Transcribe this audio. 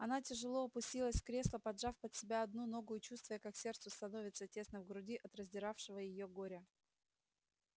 она тяжело опустилась в кресло поджав под себя одну ногу и чувствуя как сердцу становится тесно в груди от раздиравшего его горя